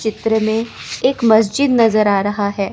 चित्र में एक मस्जिद नजर आ रहा है।